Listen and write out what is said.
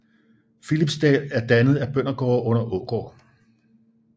Philipsdal er dannet af bøndergårde under Aagaard